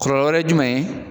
ye jumɛn ye?